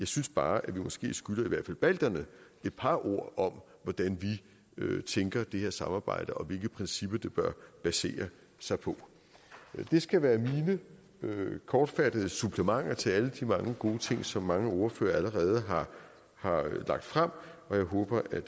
synes bare at vi måske skylder i hvert fald balterne et par ord om hvordan vi tænker det her samarbejde og hvilke principper det bør basere sig på det skal være mine kortfattede supplementer til alle de mange gode ting som mange ordførere allerede har lagt frem og jeg håber at